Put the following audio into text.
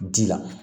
Ji la